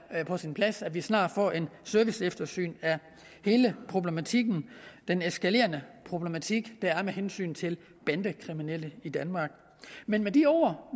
på sin plads at vi snart får et serviceeftersyn af hele problematikken den eskalerende problematik der er med hensyn til bandekriminalitet danmark men med de ord